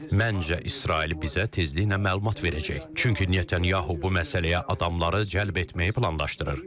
Məncə İsrail bizə tezliklə məlumat verəcək, çünki Netanyahu bu məsələyə adamları cəlb etməyi planlaşdırır.